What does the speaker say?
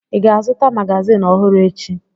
Ị ga-azụta magazịn ọhụrụ echi?